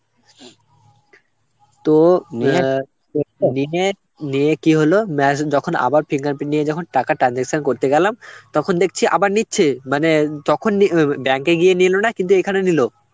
তো নিয়ে কি হল machine এখন আবার fingerprint নিয়ে যখন টাকা transaction করতে গেলাম তখন দেখছি আবার নিচ্ছে মানে তখন নিয়ে~ অ্যাঁ~ bank এ গিয়ে নিল না, কিন্তু এখানে নিল.